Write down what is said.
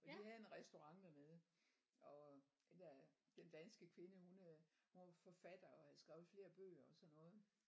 Og de havde en restaurent dernede og den der den danske kvinde hun øh hun var forfatter og havde skrevet flere bøger og sådan noget